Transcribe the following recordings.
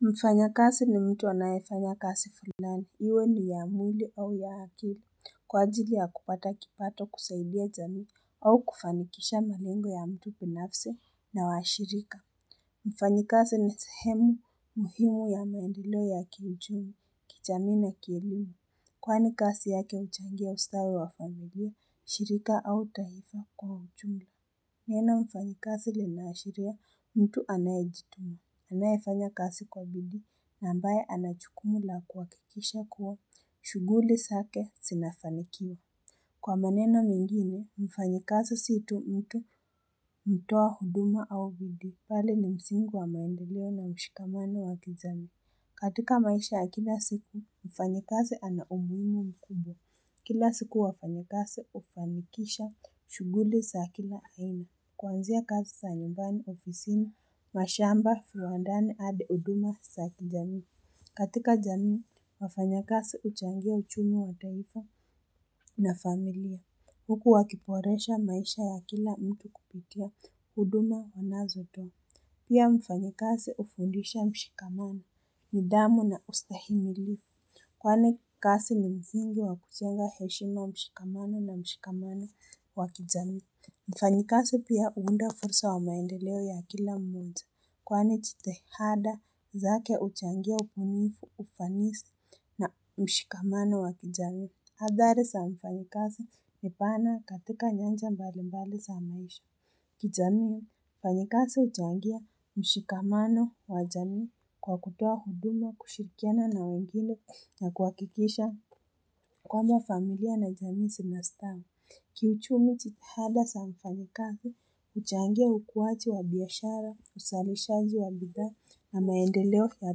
Mfanyakazi ni mtu anayefanya kazi fulani. Iwe ni ya mwili au ya akili. Kwa ajili ya kupata kipato kusaidia jamii au kufanikisha malengo ya mtu binafsi na washirika. Mfanyikazi ni sehemu muhimu ya maendeleo ya kiuchumi, kijamii na kielimu. Kwani kazi yake huchangia ustawi wa familia, shirika au taifa kwa uchumi. Neno mfanyikazi linaashiria mtu anayejituma. Anayefanya kazi kwa bidii na ambaye ana jukumu la kuhakikisha kuwa shughuli zake zinafanikiwa. Kwa maneno mengine, mfanyikazi si tu mtu, hutoa huduma au bidii. Bali ni msingi wa maendeleo na mshikamano wa kijamii. Katika maisha ya kila siku, mfanyikazi ana umuhimu mkubwa. Kila siku wafanyikazi hufanikisha shughuli za kila aina. Kwanzia kazi za nyumbani, ofisini, mashamba, viwandani hadi huduma za kijamii. Katika jamii, wafanyakazi huchangia uchumi wa taarifa na familia. Huku wakiboresha maisha ya kila mtu kupitia huduma wanazotoa. Pia mfanyakazi hufundisha mshikamano, nidhamu na ustahimilifu. Kwani kazi ni msingi wa kujenga heshima na mshikamano wa kijamii. Mfanyikazi pia huunda fursa ya maendeleo ya kila mmoja kwani jitihada zake huchangia ubunifu, ufanisi na mshikamano wa kijamii. Hadhari za mfanyikazi ni pana katika nyanja mbalimbali za maisha. Kijamii, mfanyikazi huchangia mshikamano wa jamii kwa kutoa huduma, kushirikiana na wengine na kuhakikisha kwamba mafamilia na jamii zinastaa. Kiuchumi jitihada za mfanyikazi, huchangia ukuaji wa biashara, uzalishaji wa bidhaa na maendeleo ya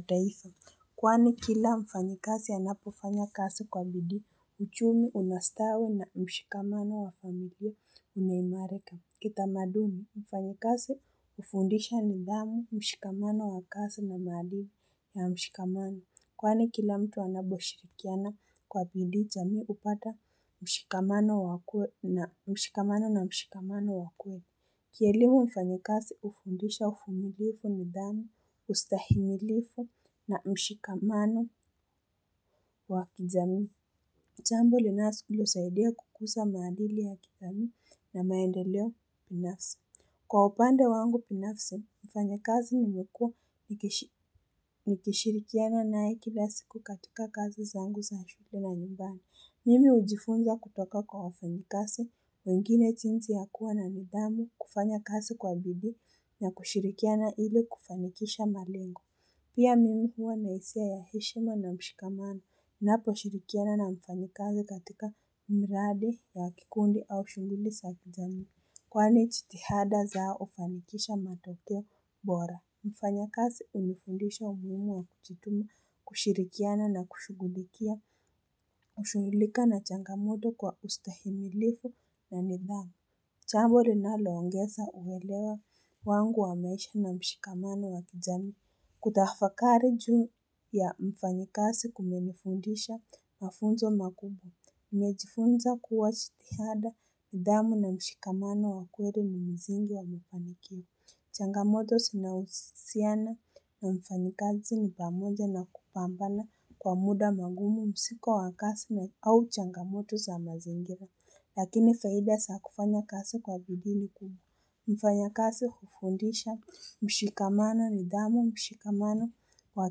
taifa. Kwani kila mfanyikazi anapofanya kazi kwa bidii, uchumi unastawi na mshikamano wa familia unaimarika. Kitamaduni. Mfanyikazi hufundisha nidhamu, mshikamano wa kazi na maadili ya mshikamano. Kwani kila mtu anaposhirikiana kwa bidii, jamii hupata mshikamano na mshikamano wa kweli. Kielimu mfanyikazi hufundisha uvumilivu nidhamu, ustahimilifu na mshikamano wa kijamii. Jambo linalosaidia kukuza maadili ya kijamii na maendeleo binafsi. Kwa upande wangu binafsi, mfanyakazi nimekuwa nikishirikiana naye kila siku katika kazi zangu za shughuli na nyumbani. Mimi hujifunza kutoka kwa wafanyikazi wengine, jinsi ya kuwa na nidhamu, kufanya kazi kwa bidii na kushirikiana ili kufanikisha malengo. Pia mimi huwa na hisia ya heshima na mshikamano, naposhirikiana na mfanyikazi katika mradi ya kikundi au shughuli za kijamii. Kwani jitihada zao hufanikisha matokeo bora. Mfanyakazi hunifundisha umuhimu wa kujituma, kushirikiana na kushugulikia kushughulika na changamoto kwa ustahimilifu na nidhamu. Jambo linaloongeza uelewa wangu wa maisha na mshikamano wa kijamii. Kutafakari juu ya mfanyakazi kumenifundisha mafunzo makubwa. Nimejifunza kuwa jitihada nidhamu na mshikamano wa kweli ni msingi wa kufanikiwa. Changamoto zinahusiana na mfanyikazi ni pamoja na kupambana kwa muda magumu, mzigo wa kazi au changamoto wa mazingira Lakini faida za kufanya kazi kwa bidii ni kuu Mfanyakazi hufundisha mshikamano, nidhamu, mshikamano wa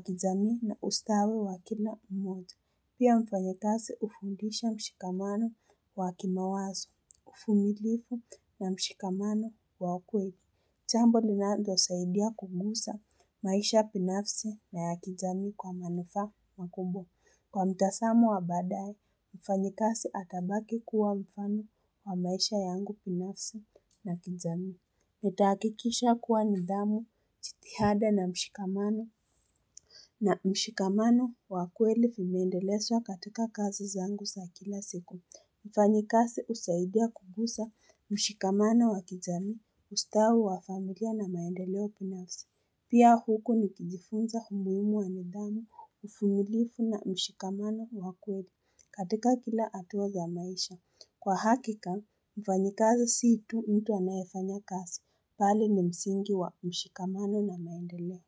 kijamii na ustawi wa kila mmoja. Pia mfanyikazi hufundisha mshikamano wa kimawazo, uvumilivu na mshikamano wa kweli. Jambo linalosaidia kugusa maisha binafsi na ya kijamii kwa manufaa makubwa. Kwa mtazamo wa baadaye, mfanyikazi atabaki kuwa mfano wa maisha yangu binafsi na kijamii. Nitahakikisha kuwa nidhamu, jitihada na mshikamano. Na mshikamano wa kweli vimeendelezwa katika kazi zangu za kila siku. Mfanyikazi husaidia kugusa mshikamano wa kijamii, ustawi wa familia na maendeleo binafsi. Pia huko nikijifunza umuhimu wa nidhamu, uvumilivu na mshikamano wa kweli katika kila hatua za maisha. Kwa hakika, mfanyikazi si tu mtu anayefanya kazi. Bali ni msingi wa mshikamano na maendeleo.